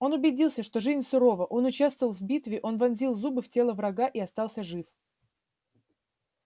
он убедился что жизнь сурова он участвовал в битве он вонзил зубы в тело врага и остался жив